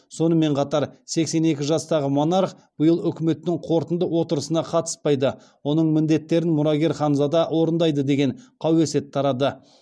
сонымен қатар сексен екі жастағы монарх биыл үкіметтің қорытынды отырысына қатыспайды оның міндеттерін мұрагер ханзада орындайды деген қауесет тарады